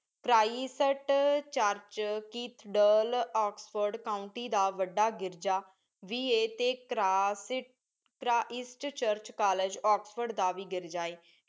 ਚਰਾਈਟਸਟ church cathedral Oxford county ਦਾ ਵੱਡਾ ਗਿਰਜਾ ਬੀ ਏ ਤੇ ਕਰਾਸਟ ਇਸਟਚਰਚ ਕਾਲਜ ਓਕਸਡ ਦਾ ਵੀ ਗਿਰਜਾ ਏ